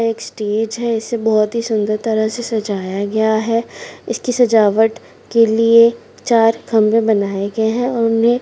एक स्टेज इसे बहुत सुन्दर तरीके से सजाया गया है इसकी सजावट के लिए चार खम्बे बनाये गए है और उन्हें--